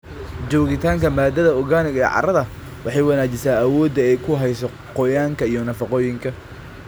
Joogitaanka maadada organic ee carrada waxay wanaajisaa awooda ay ku hayso qoyaanka iyo nafaqooyinka.